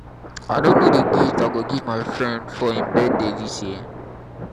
i no know the gift i go give my friend for im birthday dis year